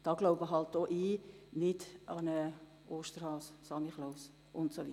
Diesbezüglich glaube auch ich nicht an einen Osterhasen oder einen Samichlaus.